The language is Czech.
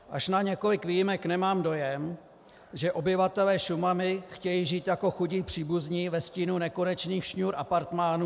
Až na několik výjimek nemám dojem, že obyvatelé Šumavy chtějí žít jako chudí příbuzní ve stínu nekonečných šňůr apartmánů.